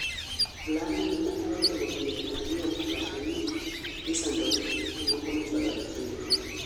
Olandi ni malao jogo piero ariyo owacho ni nisandogi ka moko nichwado ahinya